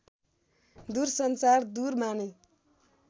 दूरसञ्चार दूर माने